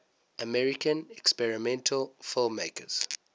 american experimental filmmakers